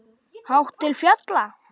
Hátt til fjalla?